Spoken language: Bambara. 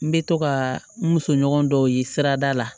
N bɛ to ka n musoɲɔgɔn dɔw ye sirada la